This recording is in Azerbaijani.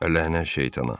"Əlhənnə şeytana."